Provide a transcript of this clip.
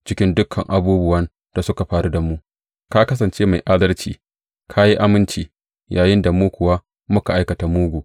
Cikin dukan abubuwan da suka faru da mu, ka kasance mai adalci; ka yi aminci, yayinda mu kuwa muka aikata mugu.